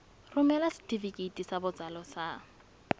romela setefikeiti sa botsalo sa